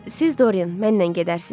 Siz Dorian, mənlə gedərsiz.